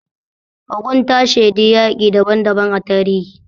Ogun ta shaidi yaƙi daban daban a tarihi.